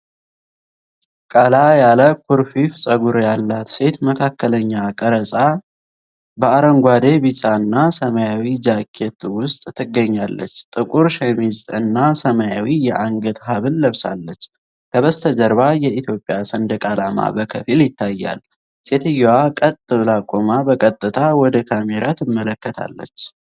ቀላ ያለ ኩርፊፍ ፀጉር ያላት ሴት መካከለኛ ቀረጻ በአረንጓዴ፣ ቢጫና ሰማያዊ ጃኬት ውስጥ ትገኛለች። ጥቁር ሸሚዝ እና ሰማያዊ የአንገት ሐብል ለብሳለች። ከበስተጀርባ የኢትዮጵያ ሰንደቅ ዓላማ በከፊል ይታያል። ሴትየዋ ቀጥ ብላ ቆማ በቀጥታ ወደ ካሜራ ትመለከታለች።